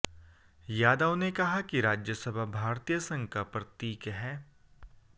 यादव ने कहा कि राज्यसभा भारतीय संघ का प्रतीक है